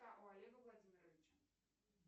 у олега владимировича